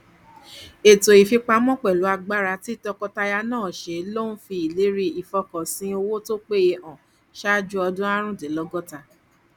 ètò ìfipamọ pẹlú agbára tí tọkọtaya náà ṣe ló ń fi ìlérí ìfọkànsìn owó tó péye hàn ṣáájú ọdún aarundinlogota